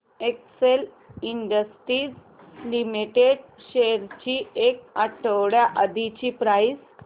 Excel Industries Limited shares ची एक आठवड्या आधीची प्राइस